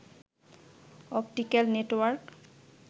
optical network